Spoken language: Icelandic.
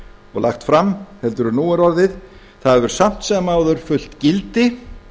og lagt fram heldur en nú er orðið það hefur samt sem áður fullt gildi